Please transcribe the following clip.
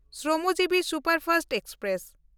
Shramjeevi superfast express